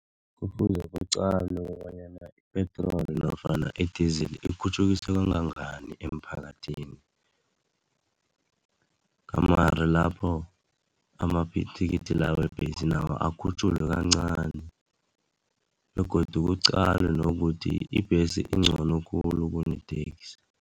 Kufuze kuqalwe bonyana i-petrol nofana i-diesel ikhutjhukiswe kangangani emphakathini, gamare lapho ama-b thikithi la webhesi nawo akhutjhulwe kancani begodu kuqalwe nokuthi ibhesi ingcono khulu kune taxi.